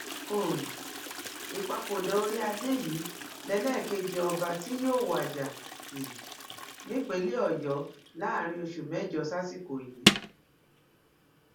um ìpapòdà orí adé yìí lélẹkẹjẹ ọba tí yóò wájà um nípìnlẹ ọyọ láàrin oṣù mẹjọ sásìkò yìí